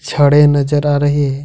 खड़े नजर आ रहे है।